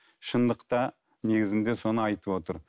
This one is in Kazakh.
шындықта негізінде соны айтып отыр